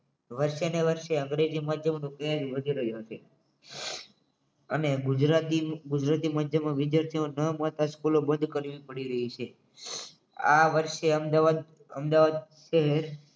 વરસેને વર્ષે અંગ્રેજી માધ્યમ નો trend વધી રહ્યો છે અને ગુજરાતી ગુજરાતી માધ્યમના વિદ્યાર્થીનો બંધ કરવી પડી રહી છે આ વર્ષે અમદાવાદ અમદાવાદ